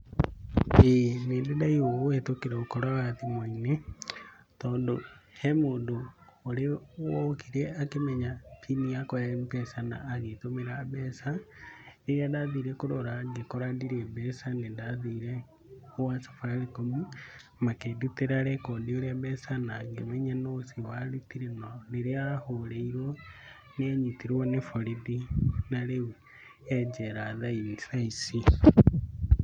Ĩĩ nĩndĩ ndaiyũo kũhĩtũkĩra ũkora wa thimũ-inĩ, tondũ hemũndũ wokire akĩmenya pini yakwa ya mpesa na agĩtũmĩra mbeca. Rĩrĩa ndathire kũrora ngĩkora ndirĩ mbeca nĩndathire gwa Safaricom makĩndutĩra rekondi ũrĩa mbeca nangĩmenya nũ ũcio warutire. Narĩrĩa ahũrĩirwo nĩanyitirwo nĩ borithi. Na rĩu e njera thaa ici.